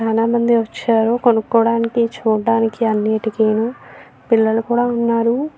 చాలామంది వచ్చారు కొనుకోటానికి చూడటానికి అన్నిటికీను పిల్లలు కూడా ఉన్నారు.